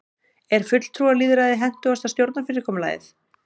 er fulltrúalýðræði hentugasta stjórnarfyrirkomulagið